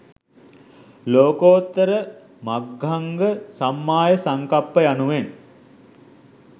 ලෝකෝත්තර මග්ගංග සම්මා සංකප්ප යනුවෙන්